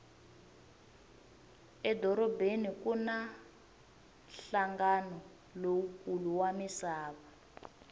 edorobeni kuna hlangana lowukulu wamisava